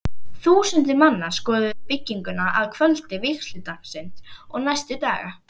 Þúsundir manna skoðuðu bygginguna að kvöldi vígsludagsins og næstu daga.